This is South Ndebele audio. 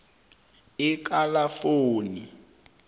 ekalafoni